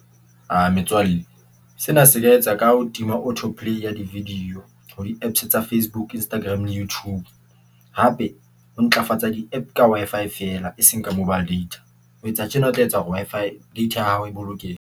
A metswalle sena se ka etsa ka ho tima auto play ya di-video ho di-Apps tsa Facebook, Instagram, YouTube, hape ho ntlafatsa di-App ka Wi-Fi feela e seng ka mobile data. Ho etsa tjena o tla etsa hore Wi-Fi data ya hao e bolokehe.